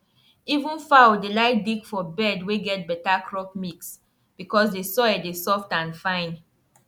even fowl dey like dig for bed wey get better crop mix because the soil dey soft and fine